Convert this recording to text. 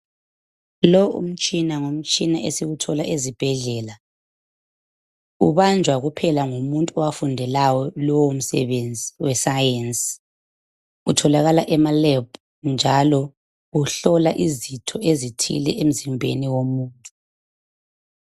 Lo umtshina ngumtshina esiwuthola ezibhedlela ubanjwa kuphela ngumuntu owafundelayo lowo msebenzi wesayensi. Utholakala emalab njalo uhlola izitho ezithile emzimbeni womuntu.